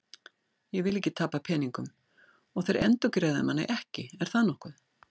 Ég vil ekki tapa peningum og þeir endurgreiða manni ekki, er það nokkuð?